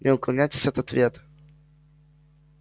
не уклоняйтесь от ответ